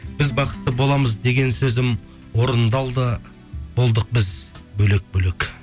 біз бақытты боламыз деген сөзім орындалды болдық біз бөлек бөлек